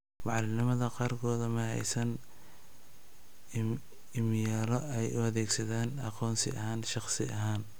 Macallimiinta qaarkood ma haysan iimaylo ay u adeegsadaan aqoonsi ahaan shakhsi ahaan.